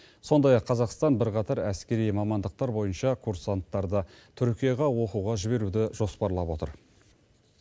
сондай ақ қазақстан бірқатар әскери мамандықтар бойынша курсанттарды түркияға оқуға жіберуді жоспарлап отыр